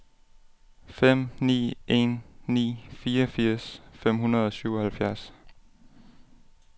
fem ni en ni fireogfirs fem hundrede og syvoghalvfjerds